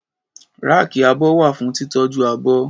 Ráàkì abọ́ wà fún títọ́jú abọ́.